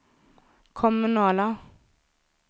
kommunala